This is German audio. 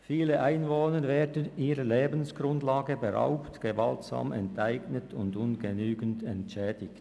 Viele Einwohner werden ihrer Lebensgrundlage beraubt, gewaltsam enteignet oder ungenügend entschädigt.